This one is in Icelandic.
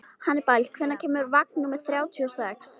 Hannibal, hvenær kemur vagn númer þrjátíu og sex?